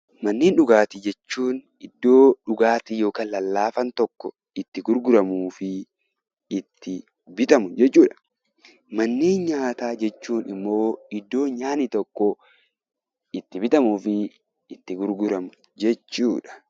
Manneen dhugaatii jechuun iddoo dhugaatiin yookiin lallaafaan tokko itti gurguramuu fi bitamu jechuudha. Manneen nyaataa jechuun immoo iddoo nyaanni tokko itti bitamuu fi itti gurguramu jechuudha.